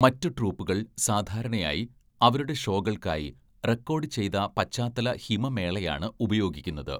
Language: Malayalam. മറ്റ് ട്രൂപ്പുകൾ സാധാരണയായി അവരുടെ ഷോകൾക്കായി റെക്കോർഡ് ചെയ്ത പശ്ചാത്തല ഹിമമേളയാണ് ഉപയോഗിക്കുന്നത്.